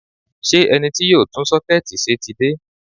Ṣé ẹni tí yóò tún sọ́kẹ́ẹ̀tì ṣe ti dé?